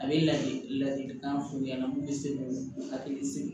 A bɛ ladili ladilikan f'u ɲɛna mun bɛ se k'u hakili sigi